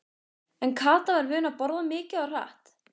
En Kata var vön að borða mikið og hratt.